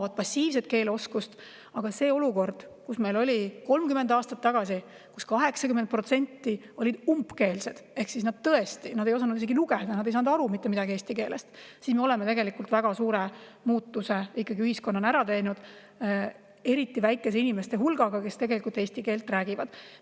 Aga selle olukorraga, mis meil oli 30 aastat tagasi, kui 80% olid umbkeelsed ehk tõesti ei osanud isegi lugeda, nad ei saanud mitte midagi eesti keelest aru, me oleme tegelikult väga suure muutuse ära teinud ühiskonnana ja eriti väikese inimeste hulgaga, kes eesti keelt räägivad.